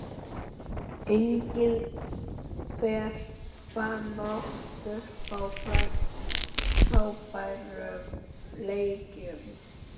Engilbert fann oft upp á frábærum leikjum.